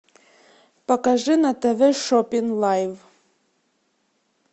покажи на тв шопинг лайв